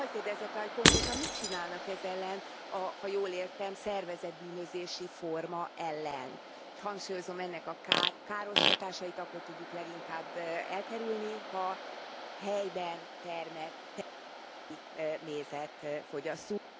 Hagy kérdezzek rá, hogy konkrétan mit csinálnak ez ellen a, ha jól értem, szervezett bűnözési forma ellen? Hangsúlyozom, ennek a káros hatásait akkor tudjuk leginkább elkerülni, ha helyben termelt, helyi mézet fogyasztunk.